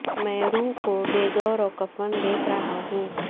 میں روح کو بے گور وکفن دیکھ رہا ہوں